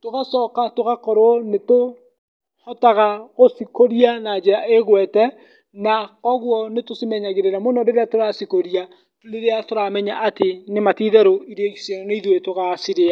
tũgacoka tũgakorwo nĩ tũhotaga gũcikũria na njĩra ĩgwete, na koguo nĩ tũcimenyagĩrĩra mũno rĩrĩa tũracikũria, rĩrĩa tũramenya atĩ, nĩma ti itherũ irio icio nĩ ithuĩ tũgacirĩa.